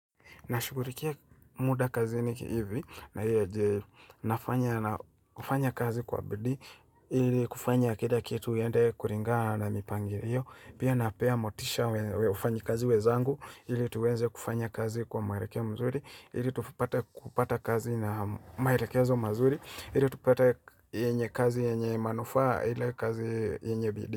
Nashughurikia muda kazi niki hivi, na hufanya kazi kwa bidi, ili kufanya kira kitu iende kuringa na mipangirio, pia napea motisha wen wafanyi kazi wezangu, ili tuweze kufanya kazi kwa mwerekeo mazuri, ili tupate kupata kazi na maerekezo mazuri, ili tupata kazi enye kazi yenye manufaa ili kazi yenye bidii.